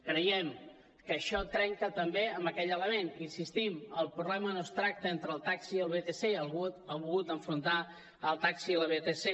creiem que això trenca també amb aquell element hi insistim el problema no es tracta entre el taxi i els vtc algú ha volgut enfrontar el taxi i les vtc